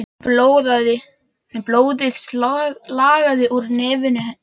Blóðið lagaði úr nefinu á henni.